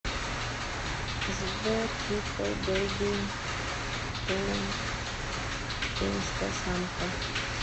сбер трипл бейби тур инстасамка